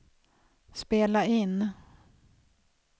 spela in